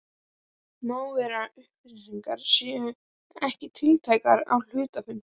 Vera má að upplýsingar séu ekki tiltækar á hluthafafundi.